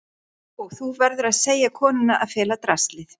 Og þú verður að segja konunni að fela draslið.